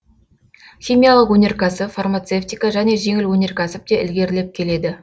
химиялық өнеркәсіп фармацевтика және жеңіл өнеркәсіп те ілгерілеп келеді